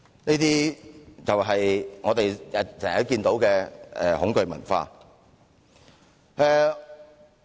這種就是我們經常看到的恐懼文化。